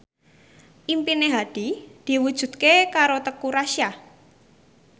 impine Hadi diwujudke karo Teuku Rassya